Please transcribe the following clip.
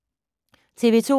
TV 2